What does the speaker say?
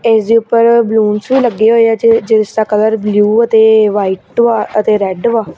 ਇਸ ਦੇ ਉੱਪਰ ਬਲੂਨਸ ਵੀ ਲੱਗੇ ਹੋਏ ਆ ਜਿ ਜਿਸ ਦਾ ਕਲਰ ਬਲਿਊ ਅਤੇ ਵਾਈਟ ਵਾ ਅਤੇ ਰੈਡ ਵਾ।